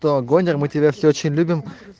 вагонер мы тебя все очень любим